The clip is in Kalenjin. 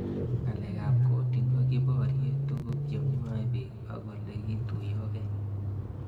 Ng'alek ab coding' ko kiporie tug'uk che mwae pik ak ole kituyokei